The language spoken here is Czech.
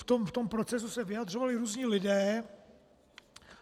V tom procesu se vyjadřovali různí lidé.